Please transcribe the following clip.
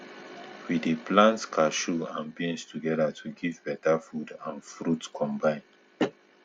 we dey um plant cashew and beans together to to give beta food and fruit combine